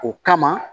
O kama